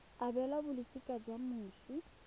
e abelwang balosika la moswi